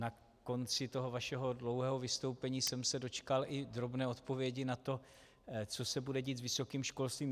Na konci toho vašeho dlouhého vystoupení jsem se dočkal i drobné odpovědi na to, co se bude dít s vysokým školstvím.